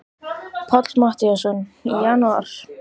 Páll Matthíasson: Í janúar?